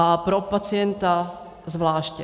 A pro pacienta zvláště.